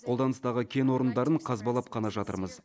қолданыстағы кен орындарын қазбалап қана жатырмыз